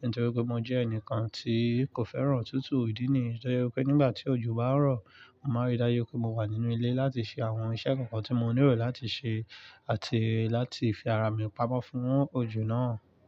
nítorí pé mo jẹ́ ẹnìkan tí kò fẹ́ràn òtútù ìdí nì. Nítorí pé nígbà tí òjò bá ń rọ̀, màá rí dájú pé mo wà nínú ilé láti ṣe àwọn iṣẹ́ kankan tí mo nílò láti ṣe àti láti fi ara mi pamọ́ fún òjò náà.